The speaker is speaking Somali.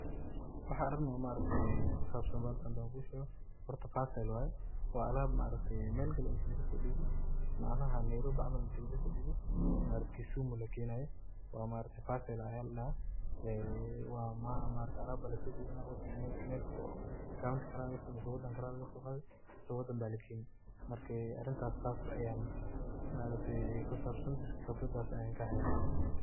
Waxa arin oo maaragtay kusabsan balakan handa kisheekoh hoorta percel waye wa alaab maaragtay meel Kali inta laga so deeboh macanaha Nairobi camal inti laga sodeeboh maaragtay Kisumu lageeynayo wa maargtahay percel Aya ladahaa wa maargtahay alab Aya la so deebanah wadan meel county Kali Aya lagasoqaathi mise wadan Kali Aya lageeni maaragtay arintan sas Aya maaragtay kisabsanthay qeebradaas Aya kahaya.